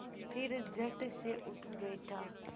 फिर झटसे उठ बैठा